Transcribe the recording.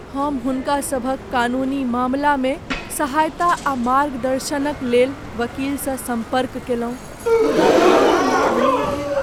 हम हुनका सभक कानूनी मामलामे सहायता आ मार्गदर्शनक लेल वकीलसँ सम्पर्क कयलहुँ, मुदा कोनो लाभ नहि भेल!